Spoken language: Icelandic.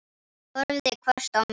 Horfði hvasst á mig.